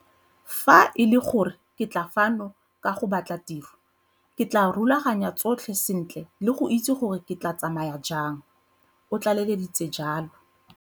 Fa e le gore ke tla fano ka go batla tiro, ke tla rulaganya tsotlhe sentle le go itse gore ke tla tsamaya jang, o tlaleleditse jalo.